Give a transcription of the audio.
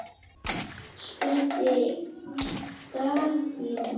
spurði Daðína.